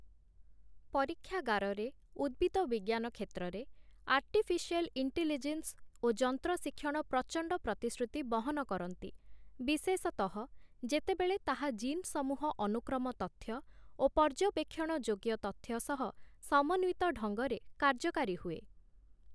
ପରୀକ୍ଷାଗାରରେ, ଉଦ୍ଭିଦ ବିଜ୍ଞାନ କ୍ଷେତ୍ରରେ ଆର୍ଟିଫିସିଆଲ୍ ଇଣ୍ଟିଲିଜେନ୍ସ ଓ ଯନ୍ତ୍ର ଶିକ୍ଷଣ ପ୍ରଚଣ୍ଡ ପ୍ରତିଶ୍ରୁତି ବହନ କରନ୍ତି, ବିଶେଷତଃ ଯେତେବେଳେ ତାହା ଜିନ୍-ସମୂହ ଅନୁକ୍ରମ ତଥ୍ୟ, ଓ ପର୍ଯ୍ୟବେକ୍ଷଣ-ଯୋଗ୍ୟ ତଥ୍ୟ ସହ ସମନ୍ଵିତ ଢଙ୍ଗରେ କାର୍ଯ୍ୟକାରୀ ହୁଏ ।